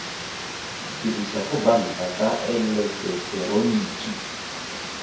dirisa go banka ka eleketeroniki